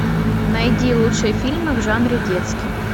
найди лучшие фильмы в жанре детский